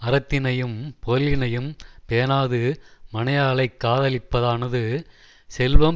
அறத்தினையும் பொருளினையும் பேணாது மனையாளைக் காதலிப்பதானது செல்வம்